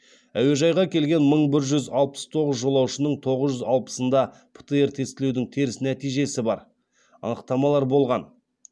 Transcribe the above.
әуежайға келген мың бір жүз алпыс тоғыз жолаушының тоғыз жүз алпысында птр тестілеудің теріс нәтижесі бар анықтамалар болған